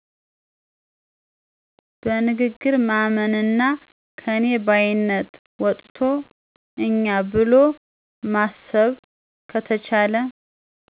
በንግግር ማመንና ከኔ ባይነት ወጥቶ እኛ ብሎ ማሰብ ከተቻለ